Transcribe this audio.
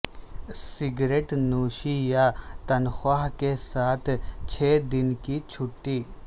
cigarette نوشی یا تنخواہ کے ساتھ چھ دن کی چھٹی